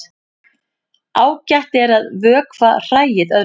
Ágætt er að vökva hræið öðru hvoru.